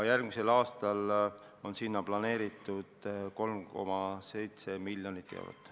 Järgmisel aastal on sinna planeeritud 3,7 miljonit eurot.